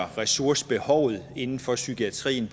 ressourcebehovet inden for psykiatrien